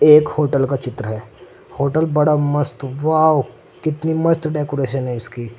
एक होटल का चित्र है होटल बड़ा मस्त वाॅव कितनी मस्त डेकोरेशन है इसकी।